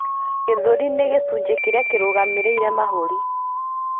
Gĩthũri nĩ gĩcunjĩ kĩrĩa kĩrũgamĩrĩire mahũri.